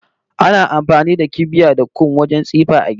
Ana amfani da kibiya da kum wajen tsifa a gida